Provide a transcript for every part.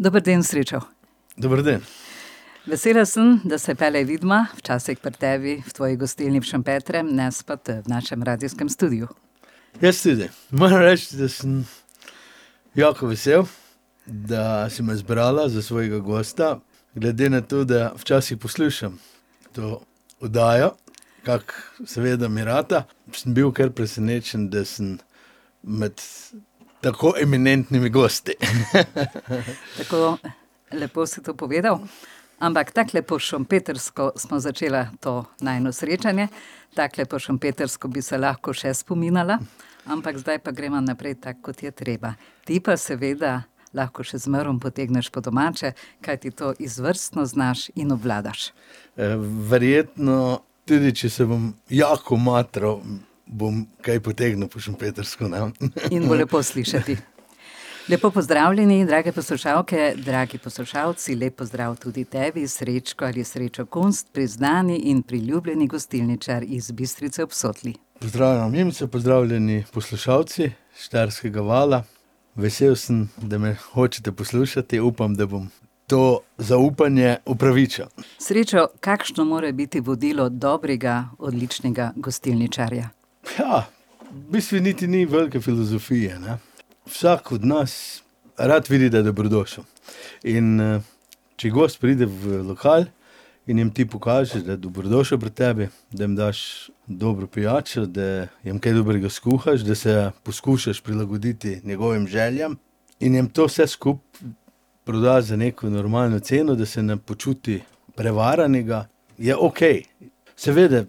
Dober dan, Srečo. Dober dan. Vesela sem, da se pelej vidma, včasih pri tebi, v tvoji gostilni v Šempetru, ne spet v našem radijskem studiu. Jaz tudi. Moram reči, da sem jako vesel, da si me izbrala za svojega gosta, glede na to, da včasih poslušam to oddajo. Kak seveda mi rata. Sem bil kar presenečen, da sem med tako eminentnimi gosti. Tako lepo si to povedal. Ampak takole po šempetrsko sva začela to najino srečanje, takole po šempetrsko bi se lahko še spominala, ampak zdaj pa greva naprej tako, kot je treba. Ti pa seveda lahko še zmeraj potegneš po domače, kajti to izvrstno znaš in obvladaš. verjetno tudi če se bom jako matral, bom kaj potegnil po šempetrsko, ne. In bo lepo slišati. Lepo pozdravljeni, drage poslušalke, dragi poslušalci, lep pozdrav tudi tebi, Srečko ali Srečo Kunst, priznani in priljubljeni gostilničar iz Bistrice ob Sotli. Pozdravljena Mimica, pozdravljeni poslušalci Štajerskega vala. Vesel sem, da me hočete poslušati. Upam, da bom to zaupanje upravičil. Srečo, kakšno mora biti vodilo dobrega, odličnega gostilničarja? v bistvu niti ni velike filozofije, ne. Vsak od nas rad vidi, da je dobrodošel. In, če gost pride v lokal in jim ti pokažeš, da je dobrodošel pri tebi, da jim daš dobro pijačo, da jim kaj dobrega skuhaš, da se poskušaš prilagoditi njegovim željam, in jim to vse skupaj prodaš za neko normalno ceno, da se ne počuti prevaranega, je okej. Seveda,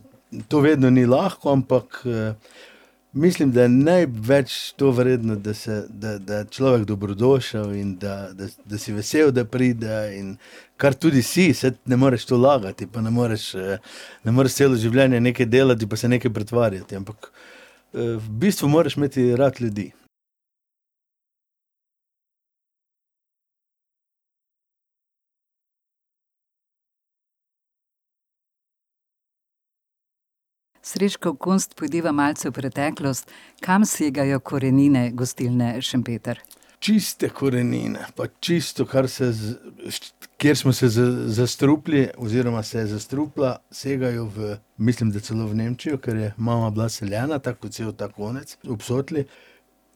to vedno ni lahko, ampak, mislim, da je največ to vredno, da se, da da je človek dobrodošel in da, da si vesel, da pride in ... Kar tudi si, saj ne moreš to lagati, pa ne moreš, ne moreš celo življenje nekaj delati pa se nekaj pretvarjati, ampak, v bistvu moraš imeti rad ljudi. Srečko Kunst, pojdiva malce v preteklost. Kam segajo korenine gostilne Šempeter? Čiste korenine pa čisto, kar se kjer smo se zastrupili oziroma se je zastrupila, segajo v, mislim, da celo v Nemčijo, ker je mama bila seljena, tako kot cel ta konec ob Sotli.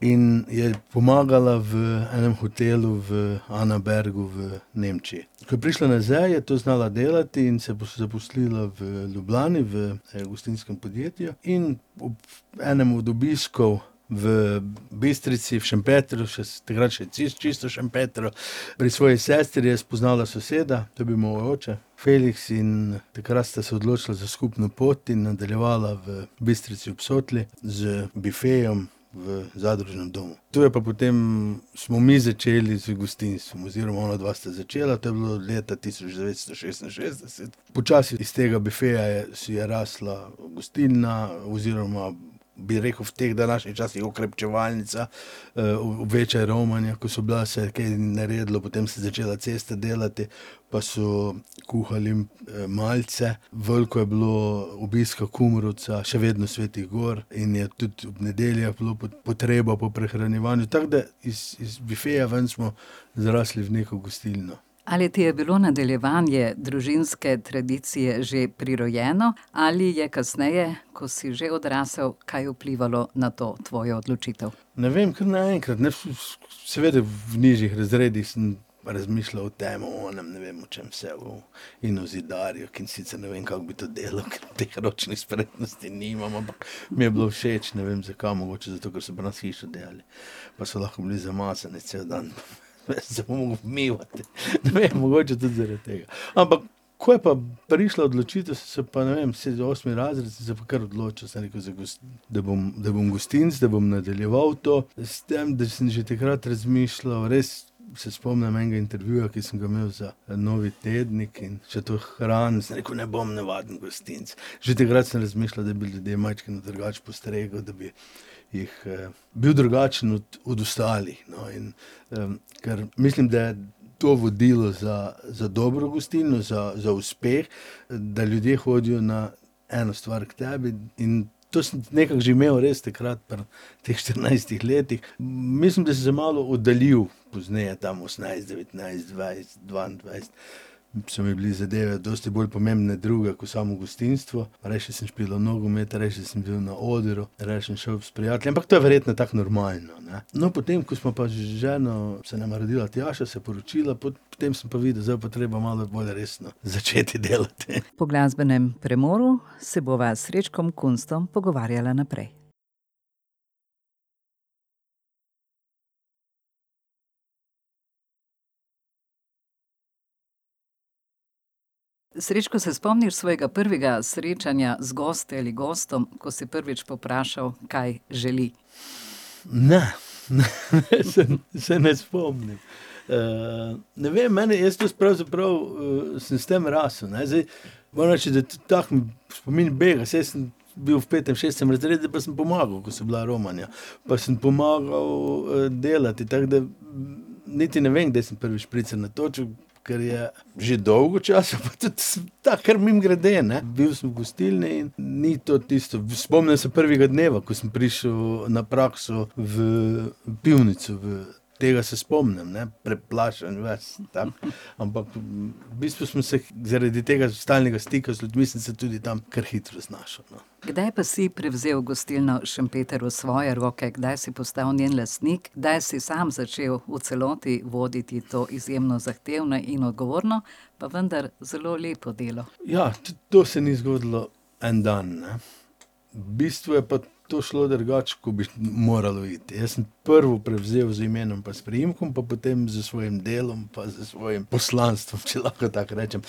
In je pomagala v enem hotelu v Anabergu v Nemčiji. Ko je prišla nazaj, je to znala delati in je zaposlila v Ljubljani, v enem gostinskem podjetju in ob enem od obiskov v Bistrici, v Šempetru, še takrat še čisto čistem Šempetru, pri svoji sestri je spoznala soseda, to je bil moj oče, Feliks, in takrat sta se odločila za skupno pot in nadaljevala v Bistrici ob Sotli z bifejem v zadružnem domu. Tu je pa potem smo mi začeli z gostinstvom. Oziroma onadva sta začela, to je bilo leta tisoč devetsto šestinšestdeset. Počasi iz tega bifeja je je rasla gostilna, oziroma bi rekel v teh današnjih časih okrepčevalnica, večja romanja, ko so bila, se je kaj naredilo, potem se je začela cesta delati, pa so kuhali malce, veliko je bilo obiska Kumrovca, še vedno svetih gor, in je tudi ob nedeljah bila potreba po prehranjevanju. Tako da iz bifeja ven smo zrasli v neko gostilno. Ali ti je bilo nadaljevanje družinske tradicije že prirojeno ali je kasneje, ko si že odrasel, kaj vplivalo na to tvojo odločitev? Ne vem, kar naenkrat nič Seveda, v nižjih razredih sem razmišljal o tem, o onem, ne vem, o čem vse, o ... In o zidarju, ke sicer ne vem, kako bi to delal, ker teh ročnih spretnosti nimam, ampak mi je bilo všeč, ne vem, zakaj. Mogoče zato, ker so pri nas hišo delali pa so lahko bili zamazani cel dan. Jaz sem se mogel umivati. Ne vem, mogoče tudi zaradi tega. Ampak ko je pa prišla odločitev, sem se pa, ne vem, sedmi, osmi razred, sem se pa kar odločil, sem rekel z da bom, da bom gostinec, da bom nadaljeval to. S tem da sem že takrat razmišljal, res, se spomnim enega intervjuja, ki sem ga imel za en novi tednik, in še to hranim, sem rekel: "Ne bom navaden gostinec." Že takrat sem razmišljal, da bi ljudi majčkeno drugače postregel, da bi jih, bil drugačen od od ostalih, no. In, ker mislim, da to vodilo za, za dobro gostilno, za, za uspeh, da ljudje hodijo na eno stvar k tebi in to sem nekako že imel res takrat pri teh štirinajstih letih. Mislim, da sem se malo oddaljil pozneje, tam osemnajst, devetnajst, dvajset, dvaindvajset. So mi bile zadeve dosti bolj pomembne druge ko samo gostinstvo. Rajši sem špilal nogomet, rajši sem bil na odru, rajši sem šel s prijatelji. Ampak to je verjetno tako normalno, ne. No, potem, ko sva pa z ženo, se nama je rodila Tjaša, se poročila, potem sem pa videl: zdaj bo pa treba malo bolj resno začeti delati. Po glasbenem premoru se bova s Srečkom Kunstom pogovarjala naprej. Srečko, se spomniš svojega prvega srečanja z gosti ali gostom, ko si si prvič povprašal, kaj želi? Ne. Ne, se ne spomnim. ne vem, meni, jaz to pravzaprav, sem s tem rastel, ne. Zdaj moram reči, da tahem spomin bega. Saj sem bil v petem, šestem razredu, pa sem pomagal, ko so bila romanja. Pa sem pomagal, delati, tako da niti ne vem, kdaj sem prvič špricer natočil, ker je že dolgo časa, pa tudi tako, kar mimogrede, ne. Bil sem v gostilni. Ni to tisto, spomnim se prvega dneva, ko sem prišel na prakso v pivnico, v ... Tega se spomnim, ne. Preplašen ves tam. Ampak, v bistvu sem se zaradi tega stalnega stika z ljudmi sem se tudi tam kar hitro znašel, no. Kdaj pa si prevzel gostilno Šempeter v svoje roke? Kdaj si postal njen lastnik? Kdaj si sam začel v celoti voditi to izjemno zahtevno in odgovorno, pa vendar zelo lepo delo? Ja, to se ni zgodilo en dan, ne. V bistvu je pa to šlo drugače, kot bi moralo iti, jaz sem prvo prevzel z imenom pa s priimkom, pa potem s svojim delom pa s svojim poslanstvom, če lahko tako rečem.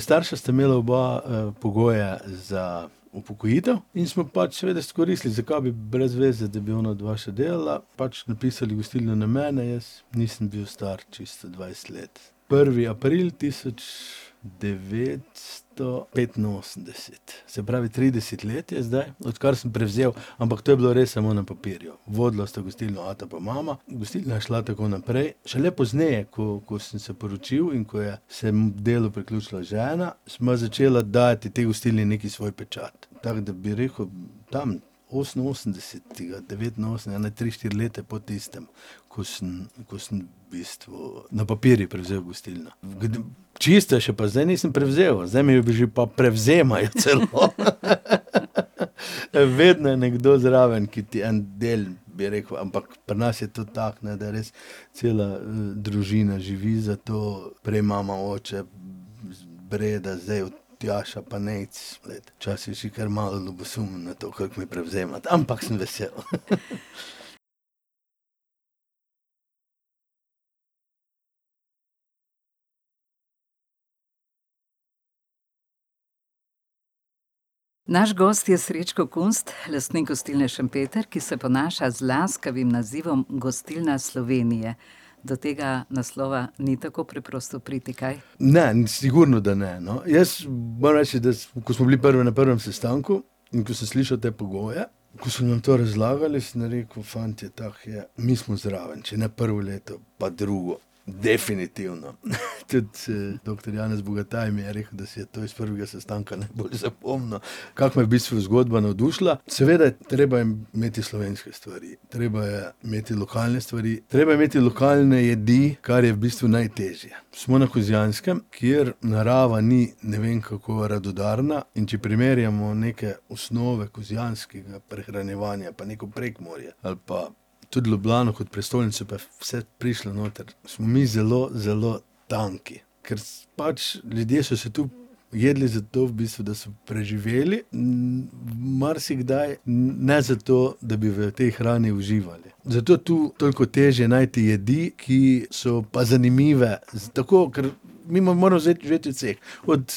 starša sta imela oba, pogoje za upokojitev in smo pač seveda izkoristili. Zakaj bi, brez veze, da bi onadva še delala. Pač, napisali gostilno na mene, jaz nisem bil star čisto dvajset let. Prvi april tisoč devetsto petinosemdeset. Se pravi, trideset let je zdaj, odkar sem prevzel, ampak to je bilo res samo na papirju. Vodila sta gostilno ata pa mama, gostilna je šla tako naprej. Šele pozneje, ko ko sem se poročil in ko je se delu priključila žena, sva začela dajati tej gostilni neki svoj pečat. Tako da, bi rekel, tam oseminosemdesetega devetinosemdeset, ene tri, štiri leta po tistem, ko sem ko sem v bistvu na papirju prevzel gostilno. V ... Čisto je še pa zdaj nisem prevzel, zdaj mi jo že pa prevzemajo celo. Vedno je nekdo zraven, ki ti en del, bi rekel, ampak pri nas je to tako, ne, da res cela, družina živi za to. Prej mama, oče, Breda, zdaj Tjaša pa Nejc. Včasih si kar malo ljubosumen na to, kako mi prevzemata. Ampak sem vesel. Naš gost je Srečko Kunst, lastnik gostilne Šempeter, ki se ponaša z laskavim nazivom Gostilna Slovenije. Do tega naslova ni tako preprosto priti, kaj? Ne, sigurno, da ne, no. Jaz moram reči, da ko smo bili na prvem sestanku in ko sem slišal te pogoje, ko so nam to razlagali, sem rekel: "Fantje, tako je, mi smo zraven. Če ne prvo leto, pa drugo, definitivno." Tudi, doktor Janez Bogataj mi je rekel, da si je to iz prvega sestanka najbolj zapomnil, kako me je v bistvu zgodba navdušila. Seveda treba je imeti slovenske stvari. Treba je imeti lokalne stvari, treba je imeti lokalne jedi, kar je v bistvu najtežje. Smo na Kozjanskem, kjer narava ni ne vem, kako radodarna, in če primerjamo neke osnove kozjanskega prehranjevanja pa neko Prekmurje ali pa tudi Ljubljano kot prestolnico, pa je vse prišlo noter, smo mi zelo, zelo tanki, ker pač ljudje so se tu jedli, zato, v bistvu, da so preživeli, marsikdaj ne zato, da bi v tej hrani uživali. Zato je tu toliko težje najti jedi, ki so pa zanimive. Tako, ker mi moramo živeti od vseh, od,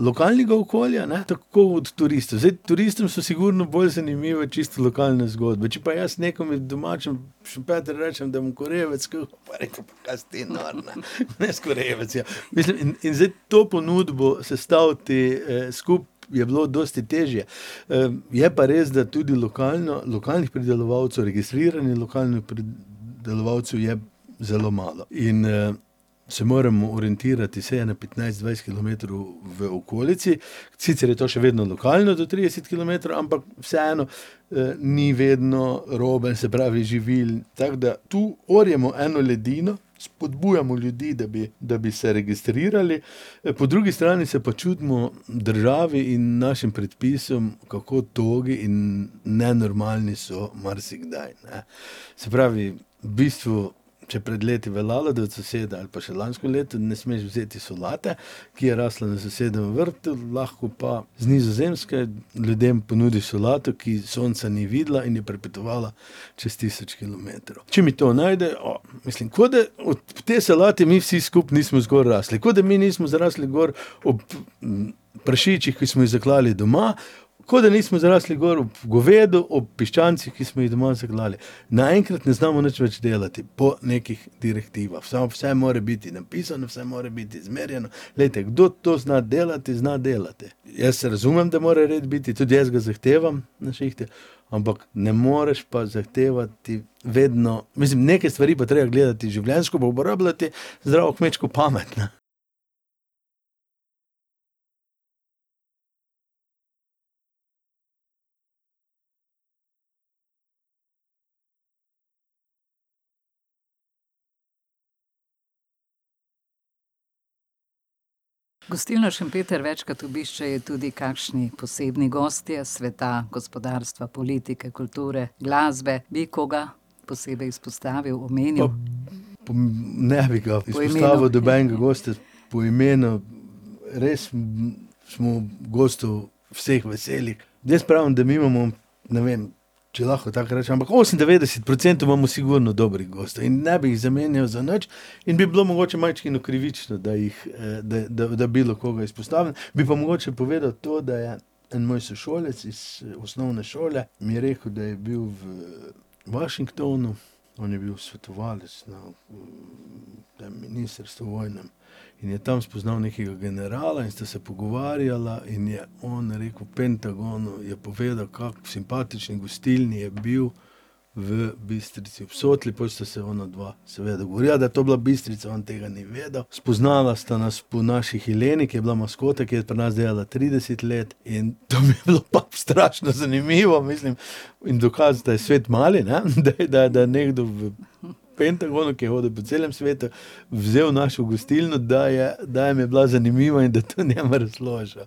lokalnega okolja, ne, tako od turistov. Zdaj, turistom so sigurno bolj zanimive čisto lokalne zgodbe, če pa jaz nekomu domačemu v Šempetru rečem, da mu bom korebe skuhal, bo rekel: "Pa kaj si ti nor, ne. Bom jaz korebec jedel." Mislim in zdaj to ponudbo sestaviti, skupaj je bilo dosti težje. je pa res, da tudi lokalnih pridelovalcev, registriranih lokalnih pridelovalcev je zelo malo. In, se moremo orientirati vsaj ene petnajst kilometrov v okolici. Sicer je to še vedno lokalno, do trideset kilometrov, ampak vseeno, ni vedno robe, se pravi živil. Tako da tu orjemo eno ledino, spodbujamo ljudi, da bi, da bi se registrirali, po drugi strani se pa čudimo državi in našim predpisom, kako togi in nenormalni so marsikdaj, ne. Se pravi, v bistvu, še pred leti je veljalo, da od soseda, ali pa še lansko leto, ne smeš vzeti solate, ki je rasla na sosedovem vrtu, lahko pa z Nizozemske ljudem ponudiš solato, ki sonca ni videla in je prepotovala čez tisoč kilometrov. Če mi to najde, ... Mislim, ko da ob tej solati mi vsi skupaj nismo gor rasli. Ko da mi nismo zrasli gor ob, prašičih, ki smo jih zaklali doma. Kot da nismo zrasli gor ob govedu, ob piščancih, ki smo jih doma zaklali. Naenkrat ne znamo nič več delati po nekih direktivah. vse more biti, napisano, vse more biti izmerjeno. Glejte, kdor to zna delati, zna delati. Jaz razumem, da mora red biti, tudi jaz ga zahtevam na šihtu, ampak ne moreš pa zahtevati vedno ... Mislim, neke stvari bi bilo treba gledati življenjsko pa, uporabljati zdravo kmečko pamet, ne. Gostilno Šempeter večkrat obiščejo tudi kakšni posebni gostje iz sveta gospodarstva, politike, kulture, glasbe. Bi koga posebej izpostavil, omenil? ne bi ga Po imenu? izpostavil nobenega gosta po imenu. Res, smo gostov vseh veseli. Jaz pravim, da mi imamo, ne vem, če lahko tako rečem, ampak osemindevetdeset procentov imamo sigurno dobrih gostov in ne bi jih zamenjal za nič, in bi bilo mogoče majčkeno krivično, da jih, da, da bilo koga izpostavim. Bi pa mogoče povedal to, da je en moj sošolec iz osnovne šole mi rekel, da je bil v Washingtonu. On je bil svetovalec na, tem ministrstvu vojnem. In je tam spoznal nekega generala in sta se pogovarjala in je on rekel v Pentagonu je povedal, kako v simpatični gostilni je bil v Bistrici ob Sotli. Pol sta se onadva seveda govorila, da to je bila Bistrica, on tega ni vedel. Spoznala sta nas po naši Heleni, ki je bila maskota, ke je pri nas delala trideset let, in to mi je bilo pa strašno zanimivo, mislim, in dokaz, da je svet mali, ne. Da da nekdo v Pentagonu, ki je hodil po celem svetu, vzel našo gostilno, da da jim je bila zanimiva in da je to njemu razložil.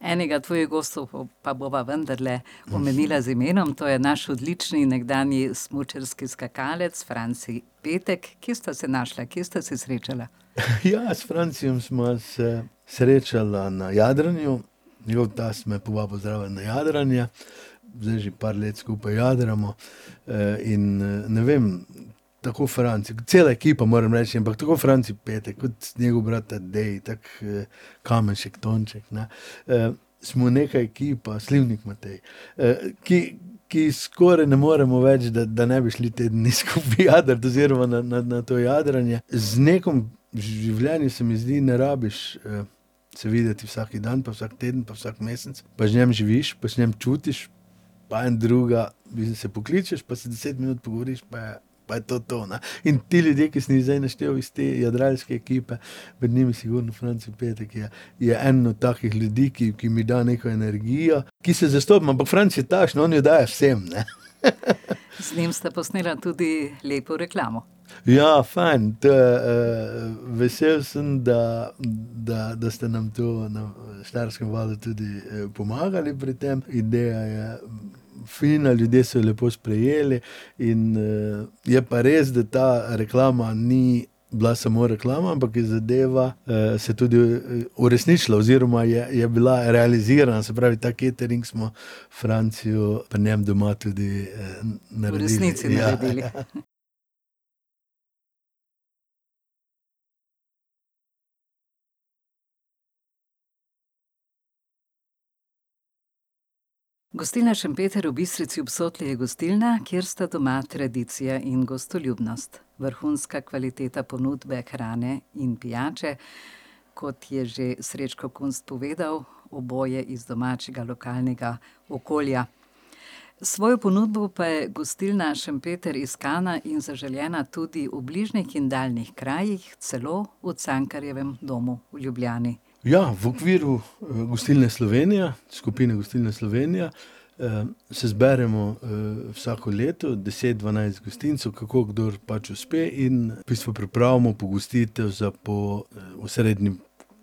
Enega tvojih gostov pa bova vendarle omenila z imenom, to je naš odlični nekdanji smučarski skakalec Franci Petek. Kje sta se našla? Kje sta se srečala? Ja, s Francijem sva se srečala na jadranju. Njegov tast me je povabil zraven na jadranje. Zdaj že par let skupaj jadramo. in, ne vem, tako Franci, cela ekipa moram reči, ampak tako Franci Petek, kot njegov brat Tadej, tako, Kamenšek Tonček, ne, smo nekaj ekipa, Slivnik Matej, ki ki skoraj ne moremo več, da ne bi šli te dni skupaj jadrat oziroma na na na to jadranje. Z nekom v življenju, se mi zdi, ne rabiš, se videti vsaki dan, pa vsak teden, pa vsak mesec, pa z njim živiš, pa z njim čutiš. Pa en druga se pokličeš, pa se deset minut pogovoriš, pa je. Pa je to to, ne. In te ljudje, ki sem jih zdaj naštel iz te jadralske ekipe, med njimi sigurno Franci Petek, je je en od takih ljudi, ki, ki mi da neko energijo, ki se zastopiva. Ampak Franci je takšen, on jo daje vsem, ne. Z njim sta posnela tudi lepo reklamo. Ja, fajn. To je, vesel sem, da, da, da ste nam to Štajerskem valu tudi, pomagali pri tem. Ideja je fina, ljudje so jo lepo sprejeli in, je pa res, da ta reklama ni bila samo reklama, ampak je zdela, se tudi uresničila oziroma je bila realizirana. Se pravi ta catering smo Franciju pri njem doma tudi, V resnici naredili. Naredili. Ja, Gostilna Šempeter v Bistrici ob Sotli je gostilna, kjer sta doma tradicija in gostoljubnost. Vrhunska kvaliteta ponudbe hrane in pijače, kot je še Srečko Kunst povedal, oboje iz domačega lokalnega okolja. S svojo ponudbo pa je gostilna Šempeter iskana in zaželena tudi v bližnjih in daljnih krajih, celo v Cankarjevem domu v Ljubljani. Ja. V okviru, Gostilne Slovenije, skupine Gostilne Slovenije, se zberemo, vsako leto deset, dvanajst gostincev, kako kdo pač uspe, in v bistvu pripravimo pogostit za po, osrednji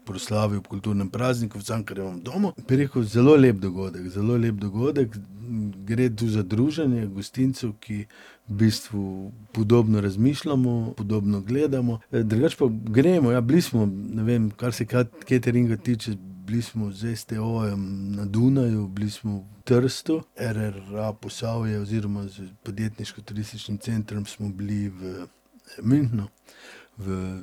proslavi ob kulturnem prazniku v Cankarjevem domu. Bi rekel, zelo lep dogodek, zelo lep dogodek. Gre tu za druženje gostincev, ki v bistvu podobno razmišljamo, podobno gledamo. drugače pa gremo, ja, bili smo, ne vem, kar se cateringa tiče, bili smo s STO-jem na Dunaju, bili smo v Trstu RRA Posavje oziroma z podjetniško-turističnim centrom smo bili v, Münchnu, v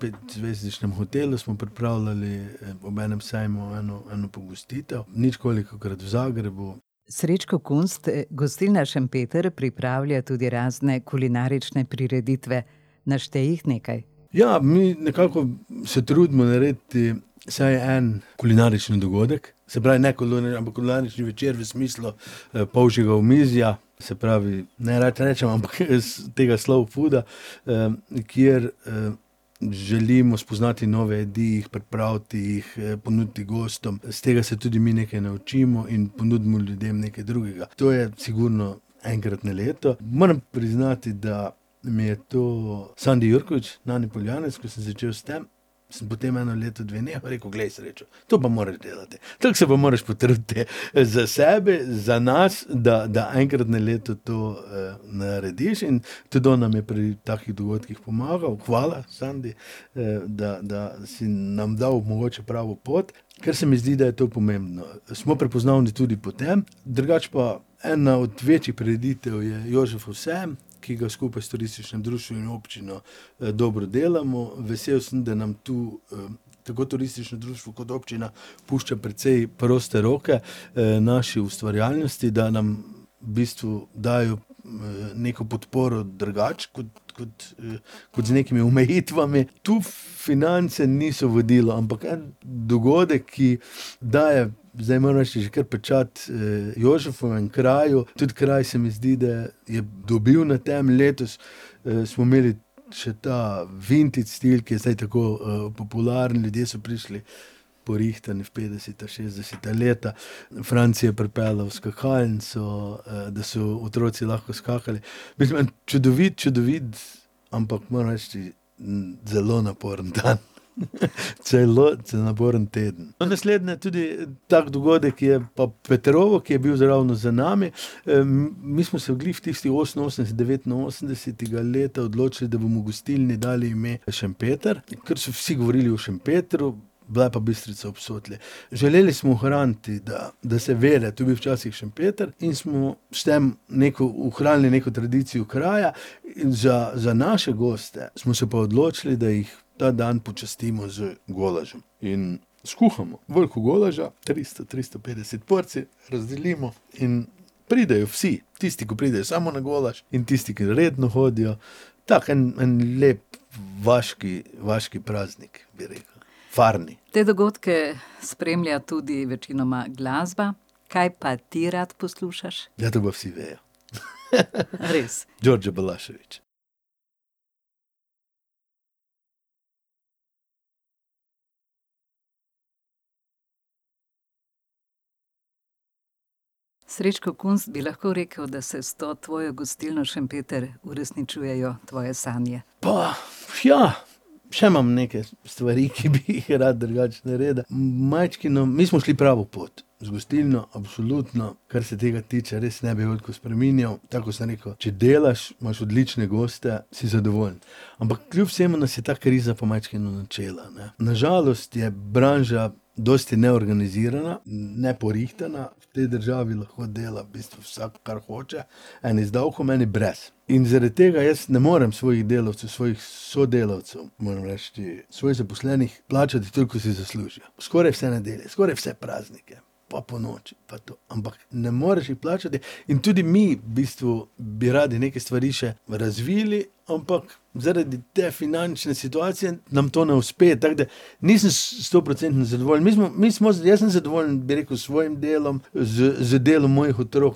petzvezdičnem hotelu smo pripravljali ob enem sejmu eno, eno pogostitev. Ničkolikokrat v Zagrebu. Srečko Kunst, gostilna Šempeter pripravlja tudi razne kulinarične prireditve. Naštej jih nekaj. Ja, mi nekako se trudimo narediti vsaj en kulinarični dogodek. Se pravi, ne ampak kulinarični večer v smislu, polžjega omizja. Se pravi, nerad rečem, ampak tega slow fooda, kjer, želimo spoznati nove jedi, jih pripraviti, jih ponuditi gostom. Iz tega se tudi mi nekaj naučimo in ponudimo ljudem nekaj drugega. To je sigurno enkrat na leto. Moram priznati, da mi je to Sandi Jurkovič, Nani Poljanec, ko sem začel s tem, samo potem eno leto, dve nehal, je rekel: "Glej, Srečo, to pa moraš delati." Tako se pa moraš potruditi. Za sebe, za nas, da da enkrat na leto to, narediš. In tudi on nam je pri takih dogodkih pomagal. Hvala, Sandi, da, da si nam dal mogoče pravo pot. Ker se mi zdi, da je to pomembno. Smo prepoznavni tudi po tem. Drugače pa ena od večjih prireditev je Jožefov sejem, ki ga skupaj s turističnim društvom in občino, dobro delamo. Vesel sem, da nam tu, tako turistično društvo kot občina pušča precej proste roke, naši ustvarjalnosti, da nam v bistvu dajejo, neko podporo drugače kot, kot, kot z nekimi omejitvami. Tu finance niso vodilo, ampak en dogodek, ki daje, zdaj moram reči, že kar pečat, Jožefovemu kraju. Tudi kraj se mi zdi, da je dobil na tem. Letos, smo imeli še ta vintage stil, ki je zdaj tako, popularen. Ljudje so prišli porihtani v petdeseta, šestdeseta leta, Franci je pripeljal skakalnico, da so otroci lahko skakali. Mislim, en čudovit, čudovit, ampak, moram reči, zelo naporen dan. celo naporen teden. No, naslednji tudi tak dogodek je pa Petrovo, ki je bil zdaj ravno za nami. mi smo se glih v tistih oseminosemdeset, devetinosemdesetega leta odločili, da bomo gostilni dali ime Šempeter, ker so vsi govorili o Šempetru, bila je pa Bistrica ob Sotli. Želeli smo ohraniti, da se ve, da je to bil včasih Šempeter, in smo s tem ohranili neko tradicijo kraja, in za, za naše goste smo se pa odločili, da jih ta dan počastimo z golažem. In skuhamo veliko golaža, tristo, tristo petdeset porcij, razdelimo in pridejo vsi. Tisti, ki pridejo samo na golaž in tisti, ki redno hodijo. Tako en, en lep vaški, vaški praznik, bi rekel. Farni. Te dogodke spremlja tudi večinoma glasba. Kaj pa ti rad poslušaš? Ja, to pa vsi vejo. Res. Đorđe Balašević. Srečko Kunst, bi lahko rekli, da se s to tvojo gostilno Šempeter uresničujejo tvoje sanje? Pa ja, še imam nekaj stvari, ki bi jih rad drugače naredil. Majčkeno, mi smo šli pravo pot z gostilno, absolutno. Kar se tega tiče res ne bi veliko spreminjal. Tako kot sem rekel, če delaš, imaš odlične goste, si zadovoljen. Ampak kljub vsemu nas je ta kriza pa majčkeno načela, ne. Na žalost je branža dosti neorganizirana, neporihtana, v tej državi lahko dela v bistvu vsak, kar hoče. Eni z davkom, eni brez. In zaradi tega jaz ne morem svojih delavcev, svojih sodelavcev, moram reči, svojih zaposlenih plačati, toliko, ko si zaslužijo. Skoraj vse nedelje, skoraj vse praznike, pa ponoči, pa to. Ampak ne moreš jih plačati in tudi mi v bistvu bi radi neke stvari še razvili, ampak zaradi te finančne situacije nam to ne uspe. Tako da nisem stoprocentno zadovoljen. Mi smo jaz sem zadovoljen, bi rekel, s svojim delom, z z delom mojih otrok